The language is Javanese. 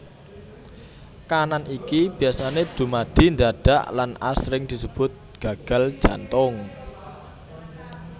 Kaanan iki biasané dumadi ndadak lan asring disebut gagal jantung